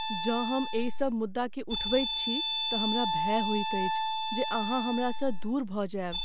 जँ हम एहिसब मुद्दाकेँ उठबैत छी तऽ हमरा भय होइत अछि जे अहाँ हमरासँ दूर भऽ जायब।